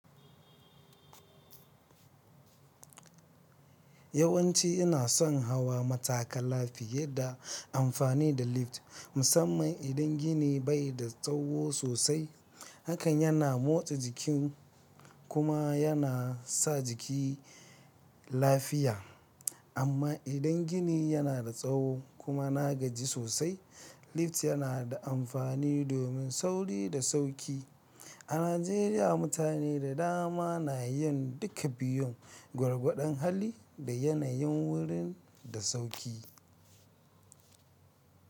Yawanci ina son hawa matakala fiye da amfani da lift, musamman idan gini bai da tsawo sosai. Hakan yana motsa jikin kuma yana sa jiki lafiya. Amma idan gini yana da tsawo kuma na gaji sosai, lift yana da amfani domin sauri da sauki. A Najeriya, mutane da dama na yin duka biyun, gwargwadon hali da yanayin wurin da sauki.